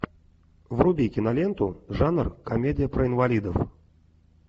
вруби киноленту жанр комедия про инвалидов